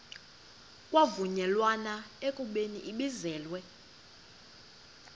kwavunyelwana ekubeni ibizelwe